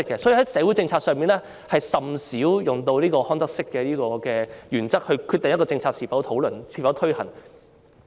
因此，在社會政策上，我們甚少以康德式的原則來決定一項政策應否討論或推行。